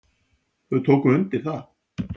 Þau tóku undir það.